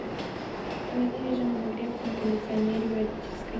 установи режим обогрев на кондиционере в родительской